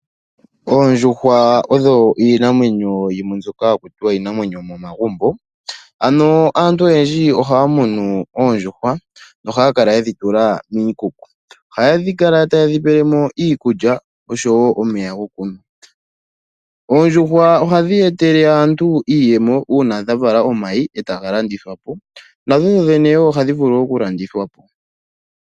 Oondjuhwa odho iinamwenyo yimwe mbyoka haku tiwa iinamwenyo yomomagumbo. Aantu oyendji ohaya munu oondjuhwa, nohaya kala yedhi tula miikuku. Ohaya kala tayedhi pelemo iikulya, noshowo omeya gokunwa. Oondjuhwa ohadhi etele aantu iiyemo, uuna dha vala omayi, etaga landithwa po, nadho wo dhene ohadhi vulu okulandithwapo.